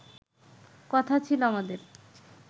কথা ছিল আমাদের